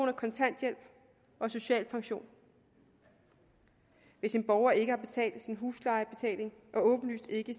af kontanthjælp og social pension hvis en borger ikke har betalt sin husleje og åbenlyst ikke